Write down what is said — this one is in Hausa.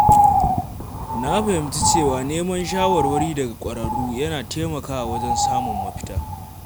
Na fahimci cewa neman shawarwari daga ƙwararru yana taimakawa wajen samun mafita.